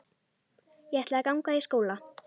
Ég ætla að ganga í skóla.